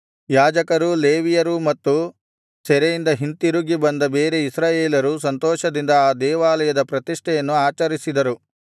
ಯಾಜಕರೂ ಲೇವಿಯರೂ ಮತ್ತು ಸೆರೆಯಿಂದ ಹಿಂತಿರುಗಿ ಬಂದ ಬೇರೆ ಇಸ್ರಾಯೇಲರೂ ಸಂತೋಷದಿಂದ ಆ ದೇವಾಲಯದ ಪ್ರತಿಷ್ಠೆಯನ್ನು ಆಚರಿಸಿದರು